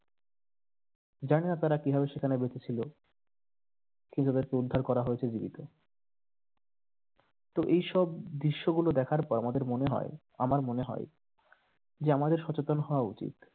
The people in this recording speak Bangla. জানিনা তারা কিভাবে সেখানে বেঁচেছিল কিন্তু তাদেরকে উদ্ধার করা হয়েছে জীবিত তো এই সব দৃশ্যগুলো দেখার পর আমাদের মনে হয় আমার মনে হয় যে আমাদের সচেতন হওয়া উচিত।